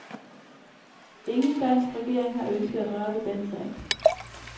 Ingen dansk regering har ønsket at røre ved den sag.